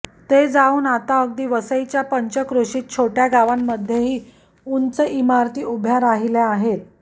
ते जाऊन आता अगदी वसईच्या पंचक्रोशीत छोट्या गावांमध्येही उंच उंच इमारती उभ्या राहिल्या आहेत